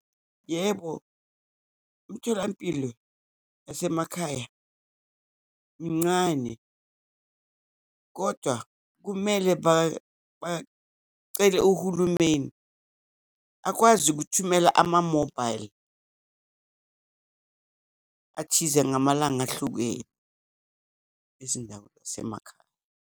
Yebo, imtholampilo yasemakhaya mincane, kodwa kumele bacele uhulumeni akwazi ukuthumela ama-mobile athize, ngamalanga ahlukene, ezindawo zasemakhaya.